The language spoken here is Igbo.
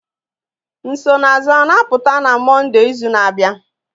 Nsonaazụ a na-apụta n'izu na-abịa Mọnde?